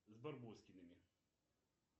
с барбоскиными